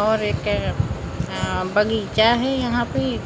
और एक अ बगीचा है यहां पे--